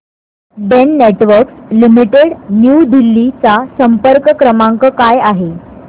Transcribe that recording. Den networks limited New Delhi चा संपर्क क्रमांक काय आहे